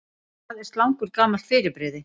Hvað er slangur gamalt fyrirbrigði?